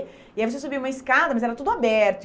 E aí você subia uma escada, mas era tudo aberto.